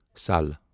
سال